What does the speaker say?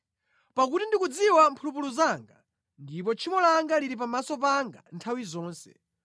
Pakuti ndikudziwa mphulupulu zanga, ndipo tchimo langa lili pamaso panga nthawi zonse.